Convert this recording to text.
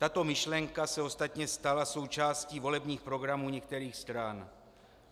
Tato myšlenka se ostatně stala součástí volebních programů některých stran.